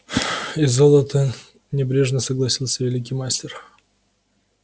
и золото небрежно согласился великий мастер